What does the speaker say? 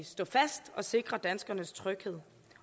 stå fast og sikre danskernes tryghed